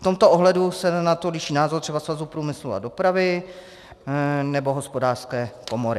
V tomto ohledu se na to liší názor třeba Svazu průmyslu a dopravy nebo Hospodářské komory.